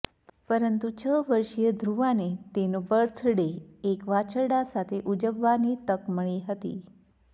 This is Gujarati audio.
પરંતુ છ વર્ષીય ધ્રુવાને તેનો બર્થડે એક વાછરડાં સાથે ઉજવવાની તક મળી હતી